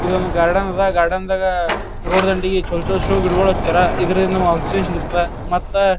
ಇದೊಂದು ಗಾರ್ಡನ್ ಅದ. ಗಾರ್ಡನ್ ದಾಗ ರೋಡ್ ದಂಡೀಗ್ ಚಲೋ ಚಲೋ ಷೋ ಗಿಡಗೊಳ್ ಹಚ್ಚ್ಯಾರ. ಇದರಿಂದ ಆಕ್ಸಿಜನ್ ಸಿಗುತ್ತದ ಮತ್ತ--